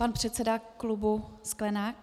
Pan předseda klubu Sklenák.